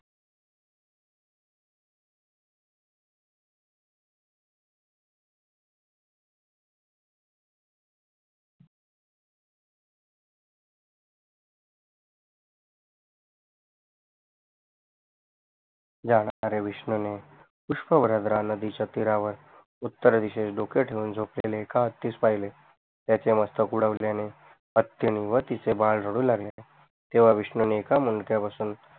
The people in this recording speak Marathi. विष्णूने पुष्पवरद्रा नदीच्या तीरावर उत्तर दिशेस डोक ठेऊन झोपलेले हत्ती पहिले त्याचे मस्तक उडवल्याने हत्तीनि व तीच बाड रडू लागले तेव्हा विष्णूने एका मुंडक्यापासून